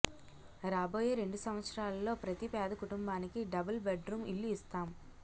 రాబోయే రెండు సంవత్సరాలలో ప్రతి పేద కుటుంబానికి డబుల్ బెడ్ రూమ్ ఇళ్లు ఇస్తాం